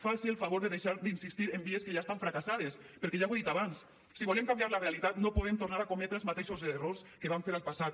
faci el favor de deixar d’insistir en vies que ja estan fracassades perquè ja ho he dit abans si volen canviar la realitat no podem tornar a cometre els mateixos errors que van fer al passat